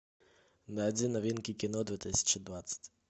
найди новинки кино две тысячи двадцать